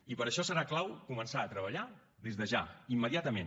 i per això serà clau començar a treballar des de ja immediatament